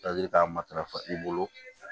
k'a matarafa i bolo